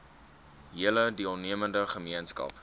hele deelnemende gemeenskap